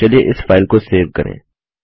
चलिए इस फाइल को सेव करें